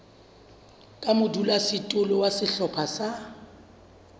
ka modulasetulo wa sehlopha sa